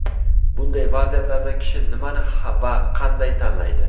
Bunday vaziyatlarda kishi nimani va qanday tanlaydi?